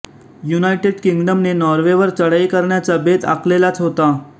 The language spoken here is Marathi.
युनायटेड किंग्डमने नॉर्वेवर चढाई करण्याचा बेत आखलेलाच होता